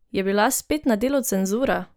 Je bila spet na delu cenzura?